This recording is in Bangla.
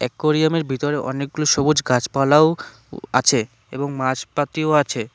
অ্যাকুরিয়াম এর ভিতরে অনেকগুলো সবুজ গাছপালাও আছে এবং মাছ পাতিও আছে।